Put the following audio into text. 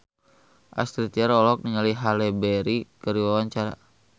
Astrid Tiar olohok ningali Halle Berry keur diwawancara